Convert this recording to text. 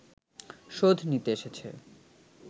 শোধ নিতে এসেছে